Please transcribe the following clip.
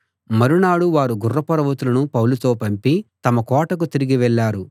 మరునాడు వారు గుర్రపు రౌతులను పౌలుతో పంపి తమ కోటకు తిరిగి వెళ్ళారు